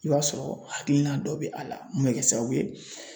I b'a sɔrɔ hakilina dɔ bɛ a la mun bɛ kɛ sababu ye